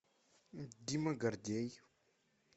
дима гордей